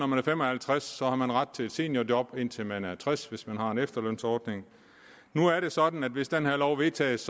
man er fem og halvtreds år har man ret til et seniorjob indtil man er tres år hvis man har en efterlønsordning nu er det sådan at hvis den her lov vedtages